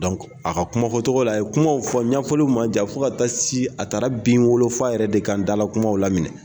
a ka kuma fɔ togo la, a ye kumaw fɔ ɲɛfɔliw ma jan fo ka taa si, a taara bin wolofa yɛrɛ de kan dalan kumaw laminɛ.